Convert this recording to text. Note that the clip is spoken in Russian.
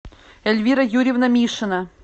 эльвира юрьевна мишина